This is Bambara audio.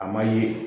A ma ye